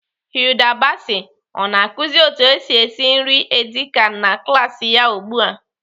Hilda Baci ọ na-akụzi otu esi esi nri edi kan na klaasị ya ugbu a?